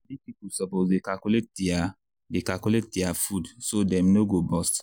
big people suppose dey calculate their dey calculate their food so dem no go burst.